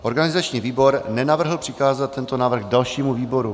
Organizační výbor nenavrhl přikázat tento návrh dalšímu výboru.